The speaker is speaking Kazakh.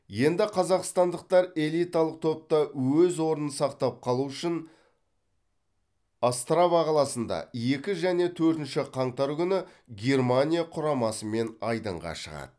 енді қазақстандықтар элиталық топта өз орнын сақтап қалу үшін острава қаласында екі және төртінші қаңтар күні германия құрамасымен айдынға шығады